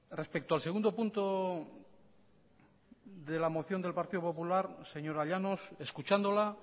respecto al segundo punto de la moción del partido popular señora llanos escuchándola